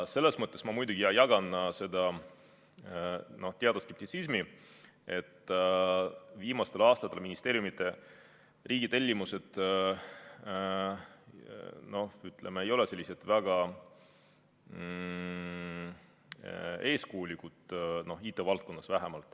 Selles mõttes ma muidugi jagan seda teatud skeptitsismi, et viimastel aastatel ei ole ministeeriumide riigitellimused väga eeskujulikud olnud, vähemalt IT-valdkonnas mitte.